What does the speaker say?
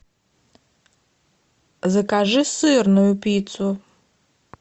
закажи сырную пиццу